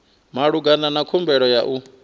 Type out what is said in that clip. malugana na khumbelo ya u